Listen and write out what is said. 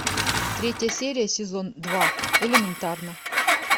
третья серия сезон два элементарно